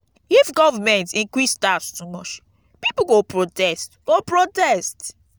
if government increase tax too much pipo go protest go protest